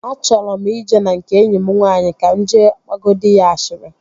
Achọrọ m ije na nke enyi m nwaanyị ka m jee gbagodi ashịrị